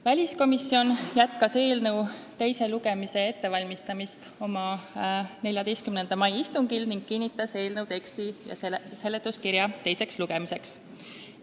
Väliskomisjon jätkas eelnõu teise lugemise ettevalmistamist oma 14. mai istungil ning kinnitas eelnõu teksti ja seletuskirja teiseks lugemiseks.